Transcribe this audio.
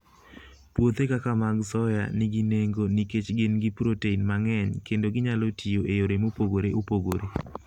Puothe kaka mag soya nigi nengo nikech gin gi protein mang'eny kendo ginyalo tiyo gi yore mopogore opogore.